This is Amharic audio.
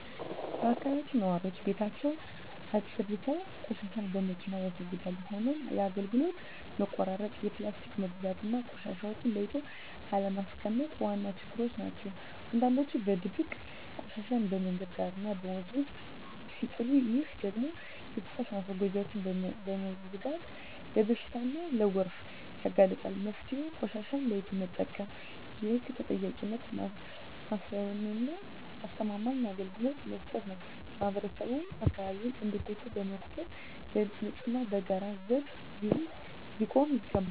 በአካባቢያችን ነዋሪዎች ቤታቸውን አፅድተው ቆሻሻን በመኪና ያስወግዳሉ። ሆኖም የአገልግሎት መቆራረጥ፣ የፕላስቲክ መብዛትና ቆሻሻን ለይቶ አለማስቀመጥ ዋና ችግሮች ናቸው። አንዳንዶች በድብቅ ቆሻሻን መንገድ ዳርና ወንዝ ውስጥ ሲጥሉ፣ ይህ ደግሞ የፍሳሽ ማስወገጃዎችን በመዝጋት ለበሽታና ለጎርፍ ያጋልጣል። መፍትሄው ቆሻሻን ለይቶ መጠቀም፣ የህግ ተጠያቂነትን ማስፈንና አስተማማኝ አገልግሎት መስጠት ነው። ማህበረሰቡም አካባቢውን እንደ ቤቱ በመቁጠር ለንፅህናው በጋራ ዘብ ሊቆም ይገባል።